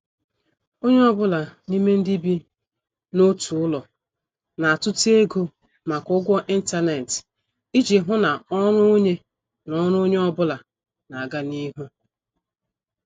Onye ọ bụla n'ime ndị bi n' otu ụlọ na- atuta ego maka ụgwọ intanet iji hụ na ọrụ onye na ọrụ onye ọ bụla n' aga n' ihu.